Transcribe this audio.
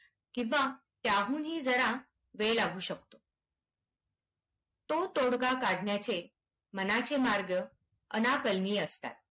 किंवा त्याहूनही जरा वेळ लागू शकतो. तो तोडगा काढण्याचे मनाचे मार्ग अनाकलनीय असतात.